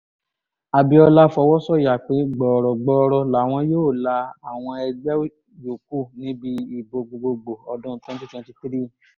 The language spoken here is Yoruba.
abiola fọwọ́ sọ̀yà pé gbọ̀ọ̀rọ̀ gbọọrọ làwọn yóò la àwọn ẹgbẹ́ yòókù níbi ìbò gbogboògbò ọdún twenty twenty three